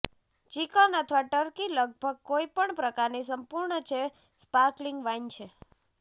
chicken અથવા turkey લગભગ કોઇ પણ પ્રકારની સંપૂર્ણ છે સ્પાર્કલિંગ વાઇન છે